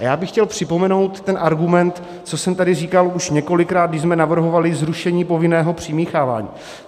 A já bych chtěl připomenout ten argument, co jsem tady říkal už několikrát, když jsme navrhovali zrušení povinného přimíchávání.